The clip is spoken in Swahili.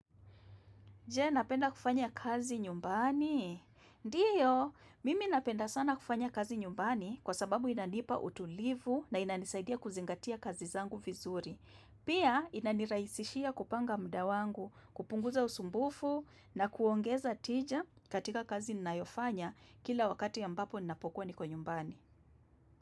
Je, napenda kufanya kazi nyumbani? Ndiyo, mimi napenda sana kufanya kazi nyumbani kwa sababu inanipa utulivu na inanisaidia kuzingatia kazi zangu vizuri. Pia, inaniraisishia kupanga muda wangu, kupunguza usumbufu na kuongeza tija katika kazi ninayofanya kila wakati ambapo ninapokuwa niko nyumbani.